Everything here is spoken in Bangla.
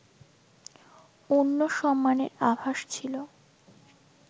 অন্য সম্মানের আভাস ছিল